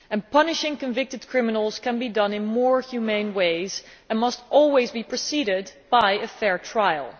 Punishing convicted criminals can be done in more humane ways and must always be preceded by a fair trial.